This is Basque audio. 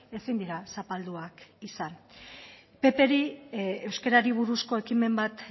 ezin dira zapalduak izan ppri euskarari buruzko ekimen bat